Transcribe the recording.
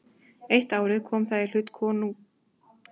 Eitt árið kom það í hlut dóttur konungs.